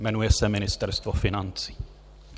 Jmenuje se Ministerstvo financí.